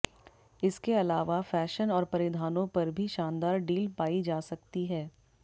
इसके अलावा फैशन और परिधानों पर भी शानदार डील पाई जा सकती है